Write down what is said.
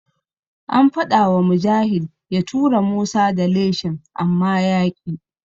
An faɗawa Mujahid ya tura Musa da leshin amma yaƙi.